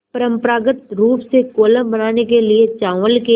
परम्परागत रूप से कोलम बनाने के लिए चावल के